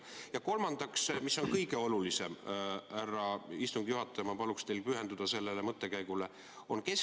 Ja kolmandaks, härra istungi juhataja, ma paluksin teil pühenduda sellele mõttekäigule, mis on kõige olulisem.